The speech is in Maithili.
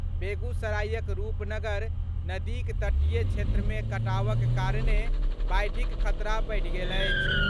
बेगूसरायक रूप नगर नदीक तटीय क्षेत्र मे कटावक कारणे बाढ़िक खतरा बढ़ि गेल अछि।